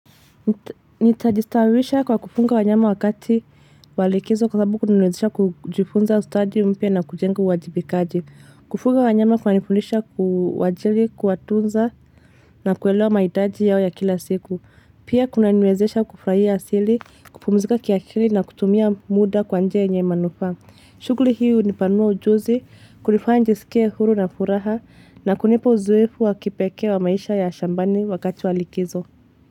Nitajistawisha kwa kufunga wanyama wakati wa likizo kwa sababu kunaniwezesha kujifunza ustadi mpya na kujenga uwajibikaji. Kufuga wanyama kunanifundisha kuwajali, kuwatunza na kuelewa mahitaji yao ya kila siku. Pia kunaniwezesha kufurahia asili, kupumzika kiakili na kutumia muda kwa nje yenye manufaa. Shughuli hii hunipanua ujuzi, kunifanya nijisikie huru na furaha na kunipa uzoefu wa kipekee wa maisha ya shambani wakati wa likizo.